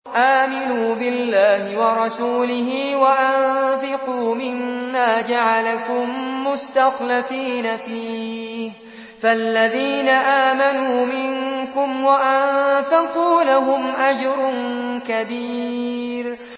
آمِنُوا بِاللَّهِ وَرَسُولِهِ وَأَنفِقُوا مِمَّا جَعَلَكُم مُّسْتَخْلَفِينَ فِيهِ ۖ فَالَّذِينَ آمَنُوا مِنكُمْ وَأَنفَقُوا لَهُمْ أَجْرٌ كَبِيرٌ